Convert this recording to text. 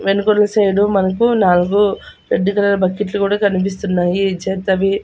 వెనుకులు side మనకు నాలుగు red colour బకెట్లు కూడా కనిపిస్తున్నాయి చెత్తవి.